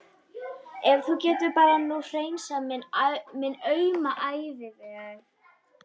Ef þú gætir nú bara hreinsað minn auma æviveg.